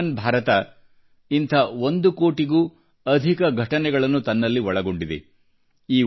ಆಯುಷ್ಮಾನ್ ಭಾರತ ವು ಇಂಥ ಒಂದು ಕೋಟಿಗೂ ಅಧಿಕ ಘಟನೆಗಳನ್ನು ತನ್ನಲ್ಲಿ ಒಳಗೊಂಡಿದೆ